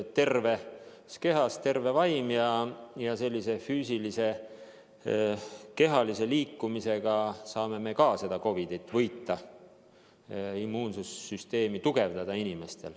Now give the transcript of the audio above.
Terves kehas on terve vaim ja füüsilise, kehalise liikumisega saame me ka COVID-it võita, inimeste immuunsüsteemi tugevdada.